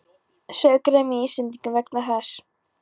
Sauð gremja í Íslendingum vegna þessa.